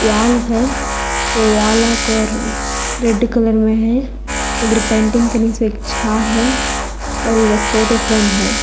Wall है वो wall का कलर रेड कलर में है इधर पेंटिंग के नीचे एक झांह है और इधर फोटो फ्रेम है।